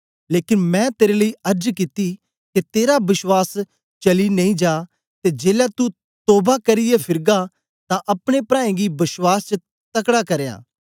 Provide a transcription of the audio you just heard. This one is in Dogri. लेकन मैं तेरे लेई अर्ज कित्ती के तेरा बश्वास चली नेई जा ते जेलै तू तोवा करियै फिरगा तां अपने प्राऐं गी बश्वास च तकड़ा करयां